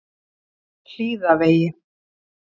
Hlíðavegi